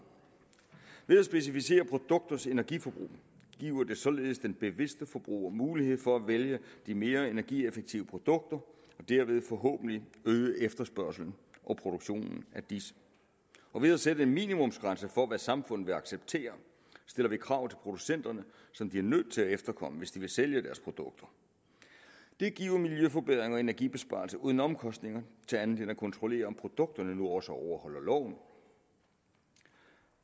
ved at specificere produkters energiforbrug giver man således den bevidste forbruger mulighed for at vælge de mere energieffektive produkter og dermed øges forhåbentlig efterspørgslen og produktionen af disse ved at sætte en minimumsgrænse for hvad samfundet vil acceptere stiller vi krav til producenterne som de er nødt til at efterkomme hvis de vil sælge deres produkter det giver miljøforbedringer og energibesparelser uden andre omkostninger end til at kontrollere om produkterne nu også overholder loven